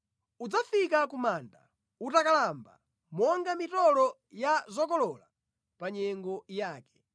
Udzafika ku manda utakalamba, monga mitolo ya zokolola pa nyengo yake.